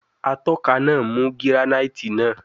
Atọka naa mu giranaiti naa